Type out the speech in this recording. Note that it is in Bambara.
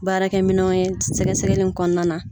Baarakɛminɛnw ye sɛgɛsɛgɛli in kɔnɔna na